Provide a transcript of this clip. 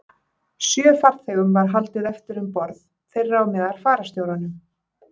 Sjö farþegum var haldið eftir um borð, þeirra á meðal fararstjóranum.